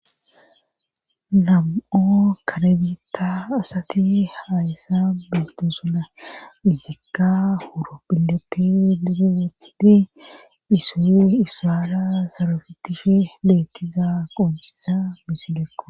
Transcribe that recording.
nam7u kare bita asati hayssa beetosona izikka buro horohileppe duge wodhidi issoy issara sarotishe betishe qoncisiza misileko